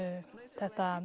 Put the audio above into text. þetta